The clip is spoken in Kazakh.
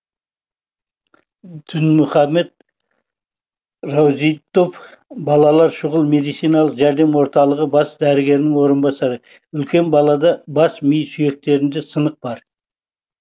дінмұхамед рузиддов балалар шұғыл медициналық жәрдем орталығы бас дәрігерінің орынбасары үлкен балада бас ми сүйектерінде сынық бар